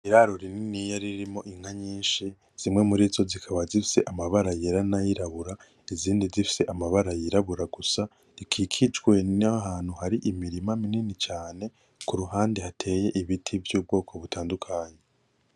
Iraro rininiya ririmwo inka nyinshi zimwe murizo zikaba zifise amabara yera nay'irabura izindi zifise amabara y'irabura gusa, rikikijwe n'ahantu hari imirima minini cane, kuruhande hateye ibiti vy'ubwoko butandukanye.